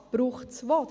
Was braucht es wo?